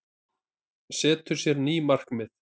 Setur sér ný markmið